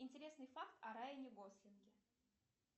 интересный факт о райане гослинге